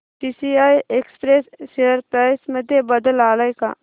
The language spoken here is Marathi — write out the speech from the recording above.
टीसीआय एक्सप्रेस शेअर प्राइस मध्ये बदल आलाय का